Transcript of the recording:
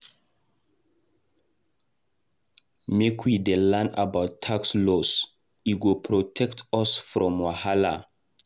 Make we dey learn about tax laws, e go protect us from wahala.